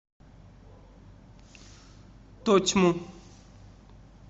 тотьму